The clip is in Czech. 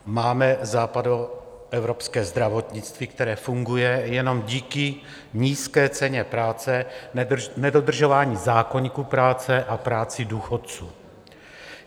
Máme západoevropské zdravotnictví, které funguje jenom díky nízké ceně práce, nedodržování zákoníku práce a práci důchodců.